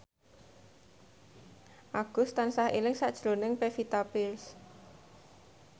Agus tansah eling sakjroning Pevita Pearce